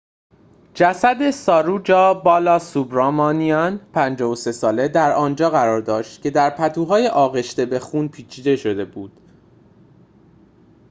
جسد ساروجا بالاسوبرامانیان ۵۳ ساله در آنجا قرار داشت که در پتوهای آغشته به خون پیچیده شده بود